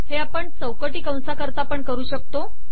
हे आपण चौकटी कंसाकरता पण करू शकतो